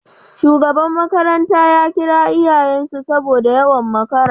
Shugaba makaranta ya kira iyayen sa saboda yawan makara